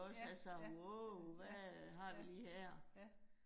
Ja ja, ja, ja, ja